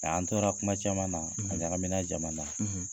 Mɛ an tora kuma caman na, , a ɲagamina jama na.